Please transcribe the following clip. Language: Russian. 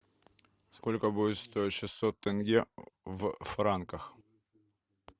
сколько будет стоить шестьсот тенге в франках